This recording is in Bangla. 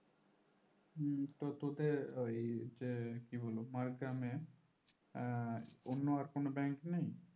হম তো তোদের ওই যে কি বলবো মাড়গ্রামে আহ অন্য আর কোনো bank নেই